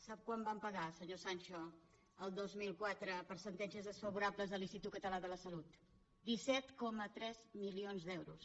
sap quan vam pagar senyor sancho el dos mil quatre per sentències desfavorables a l’institut català de la salut disset coma tres milions d’euros